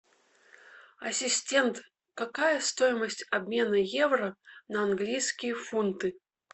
ассистент какая стоимость обмена евро на английские фунты